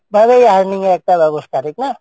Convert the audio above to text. ভাবে earning এর একটা ব্যবস্থা, ঠিক না?